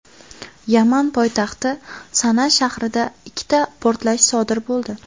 Yaman poytaxti Sana shahrida ikkita portlash sodir bo‘ldi.